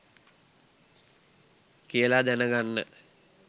කියලා දැන ගන්න